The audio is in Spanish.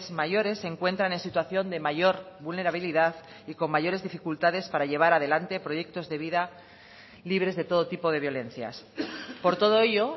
mayores se encuentran en situación de mayor vulnerabilidad y con mayores dificultades para llevar adelante proyectos de vida libres de todo tipo de violencias por todo ello